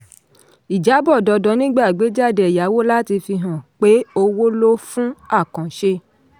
ìjábọ̀ dandan nígbà àgbéjáde ẹ̀yáwó láti fi hàn pé owó ló fún àkànṣe.